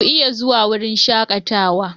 ku iya zuwa wurin shakatawa?